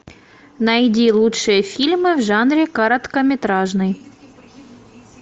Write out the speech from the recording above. найди лучшие фильмы в жанре короткометражный